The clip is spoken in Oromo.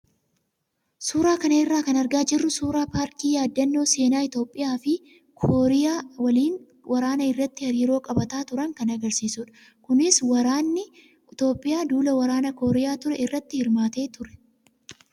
Suuraa kana irraa kan argaa jirru suuraa paarkii yaadannoo seenaa Itoophiyaa fi Kooriyaa waliin waraana irratti hariiroo qabaataa turan kan agarsiisudha. Kunis waraanni Itoophiyaa duula waraanaa Kooriyaa ture irratti hirmaatee ture.